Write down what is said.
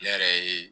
Ne yɛrɛ ye